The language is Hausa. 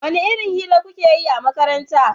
wani irin hira kukeyi a makaranta?